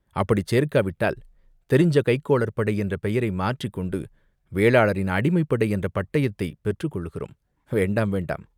அப்படிச் சேர்க்காவிட்டால், தெரிஞ்ச கைக்கோளர் படை என்ற பெயரை மாற்றிக்கொண்டு வேளாளரின் அடிமைப்படை என்ற பட்டயத்தைப் பெற்றுக் கொள்கிறோம், வேண்டாம், வேண்டாம்.